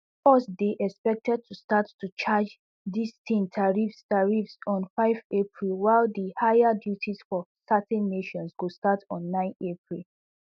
us dey expected to start to charge din ten tariffs tariffs on five april while di higher duties for certain nations go start on nine april